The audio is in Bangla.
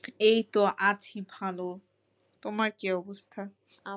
এই তো আছি ভালো তোমার কি অবস্থা?